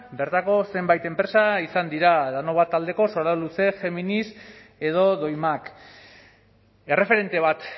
bertako zenbait enpresa izan dira danobat taldeko soraluce geminis edo doimak erreferente bat